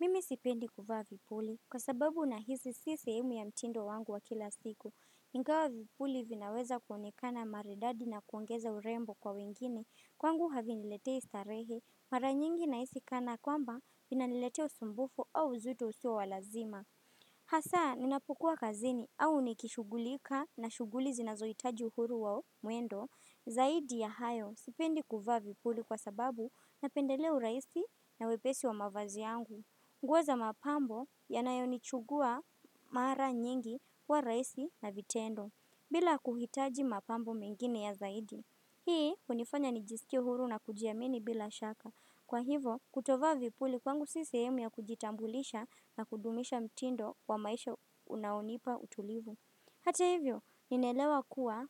Mimi sipendi kuvaa vipuli kwa sababu na hisi si sehemu ya mtindo wangu wa kila siku. Ingawa vipuli vinaweza kuonekana maridadi na kuongeza urembo kwa wengine. Kwangu havi niletei starehe mara nyingi na hisi kana kwamba vina niletea usumbufu au uzito usio walazima. Hasaa ninapukua kazini au nikishugulika na shuguli zinazo hitaji uhuru wa mwendo. Zaidi ya hayo sipendi kuvaa vipuli kwa sababu napendelea urahisi na wepesi wa mavazi yangu. Nguo za mapambo yanayonichukua mara nyingi huwa rahisi na vitendo, bila kuhitaji mapambo mengine ya zaidi. Hii unifanya nijisikie huru na kujiamini bila shaka. Kwa hivo, kutovaa vipuli kwangu si sehemu ya kujitambulisha na kudumisha mtindo wa maisha unaonipa utulivu. Hata hivyo, ninaelewa kuwa